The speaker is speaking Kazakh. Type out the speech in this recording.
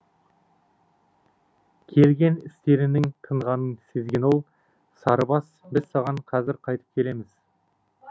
келген істерінің тынғанын сезген ол сарыбас біз саған қазір қайтып келеміз